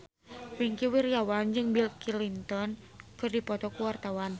Wingky Wiryawan jeung Bill Clinton keur dipoto ku wartawan